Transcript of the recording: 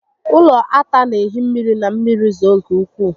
Ụlọ ata n'ehi mmiri ma mmiri zoo nke ukwuu